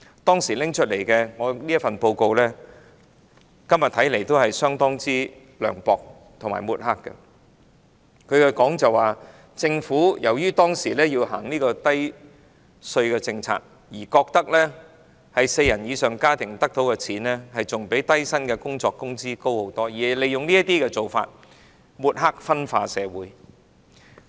當時發表的報告，今天看來仍然非常涼薄和有抹黑之嫌，該報告指政府當時由於實施低稅政策，認為四人以上家庭所得的款額比低薪工作的工資高很多，利用這些做法抹黑、分化社群。